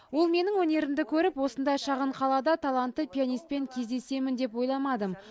ол менің өнерімді көріп осындай шағын қалада талантты пианистпен кездесемін деп ойламадым